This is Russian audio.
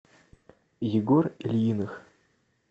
егор ильиных